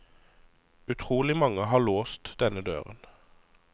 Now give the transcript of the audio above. Utrolig mange har låst denne døren.